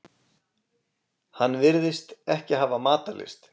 Hann virtist ekki hafa matarlyst.